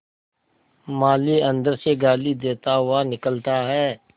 माली अंदर से गाली देता हुआ निकलता है